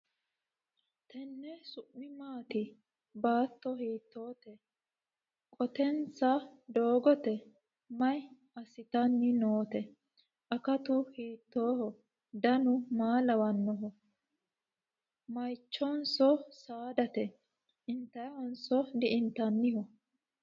Tenne su'mi maatti? Baatto hiittotte? qaettenso doogotte? Maa asittanni nootte? akattu hiittoho? Dannu maa lawannoho? Moyichohonso saadate? intaayihonso? di intanni?